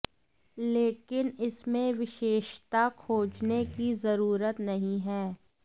लेकिन इसमें विशेषता खोजने की जरूरत नहीं है